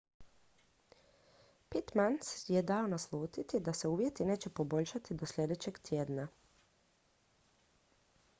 pittman je dao naslutiti da se uvjeti neće poboljšati do sljedećeg tjedna